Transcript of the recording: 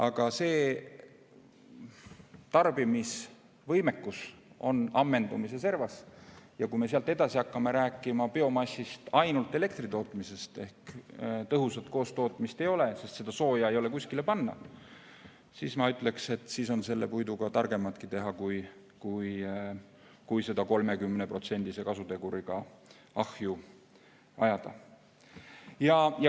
Ent see tarbimisvõimekus on ammendumise servas ja kui me sealt edasi hakkame rääkima biomassist ainult elektri tootmisel ehk kui tõhusat koostootmist ei ole, sest seda sooja ei ole kuskile panna, siis ma ütleksin, et siis on puiduga targematki teha, kui seda 30%-lise kasuteguriga ahju ajada.